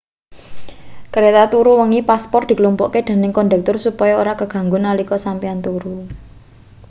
kreta turu wengi paspor diklumpukke dening kondektur supaya ora kaganggu nalika sampeyan turu